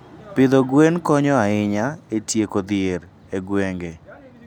Pidho gwen konyo ahinya e tieko dhier e gwenge.